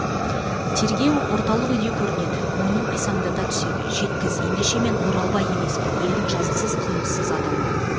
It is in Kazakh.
тергеу орталық үйде көрнеді мойнын қисаңдата түседі жеткіз ендеше мен оралбай емеспін елдің жазықсыз қылмыссыз адамымын